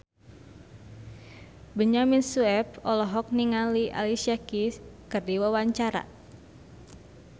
Benyamin Sueb olohok ningali Alicia Keys keur diwawancara